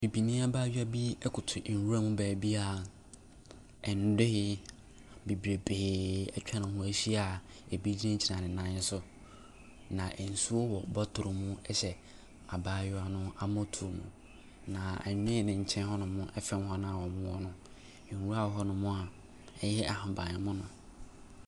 Bibini abayewa bi koto nwuram baabi a nnoe bebrebee atwa ne ho ahyia a ebi gyinagyina ne nan so, na nsuo wɔ botolo mu hyɛ abayewa no mmɔtoɔm. Na nnoe no nkyɛn hɔnom afrɛ wɔn a wɔwɔ hɔ no. Nwura wɔ hɔnom a ɛyɛ ahaban mono.